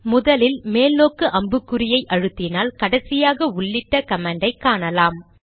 முதலில் மேல் நோக்கு அம்பு குறைஅழுத்தினால் கடைசியாக உள்ளிட்ட கமாண்டை காணலாம்